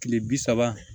Kile bi saba